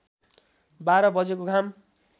बाह्र बजेको घाम